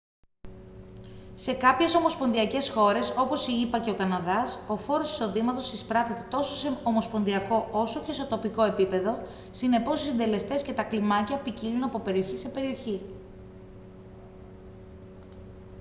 σε κάποιες ομοσπονδιακές χώρες όπως οι ηπα και ο καναδάς ο φόρος εισοδήματος εισπράττεται τόσο σε ομοσπονδιακό όσο και σε τοπικό επίπεδο συνεπώς οι συντελεστές και τα κλιμάκια ποικίλουν από περιοχή σε περιοχή